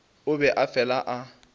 o be a fela a